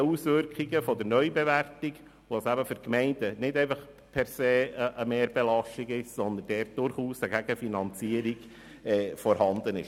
Daraus geht hervor, dass sie für die Gemeinden nicht per se eine Mehrbelastung bedeuten, sondern durchaus eine Gegenfinanzierung vorhanden ist.